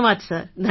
ધન્યવાદ સર